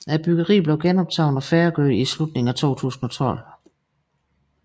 Byggeriet blev genoptaget og færdiggjort i slutningen af 2012